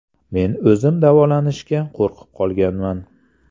Men o‘zim davolanishga qo‘rqib qolganman.